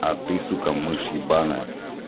а ты сука мышь ебанная